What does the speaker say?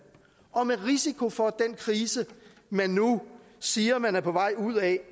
og med risiko for at den krise man nu siger man er på vej ud af